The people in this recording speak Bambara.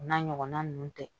O n'a ɲɔgɔnna ninnu tɛ